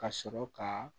Ka sɔrɔ ka